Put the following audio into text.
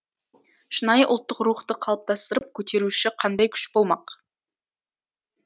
шынайы ұлттық рухты қалыптастырып көтеруші қандай күш болмақ